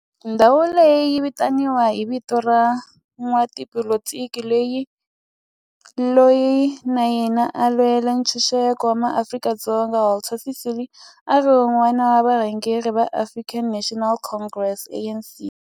Ndhawo leyi yi vitaniwa hi vito ra n'watipolitiki loyi na yena a lwela ntshuxeko wa maAfrika-Dzonga Walter Sisulu, a ri wun'wana wa varhangeri va African National Congress ANC.